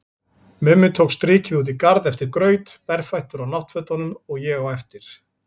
Mummi tók strikið út í garð eftir graut, berfættur á náttfötunum, og ég á eftir.